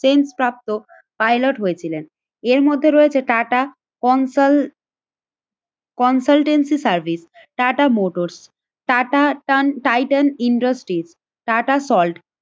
ট্রেনপ্রাপ্ত pilot হয়েছিলেন। এর মধ্যে রয়েছে টাটা কনসল consultancy service, Tata motors, Tata টান টাইটান ইন্ডাস্ট্রিস, টাটা সল্ট